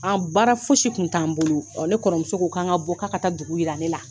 An, baara fosi kun t'an bolo, o ne kɔrɔmuso ko kan ka bɔ k'a ka taa dugu yira ne la.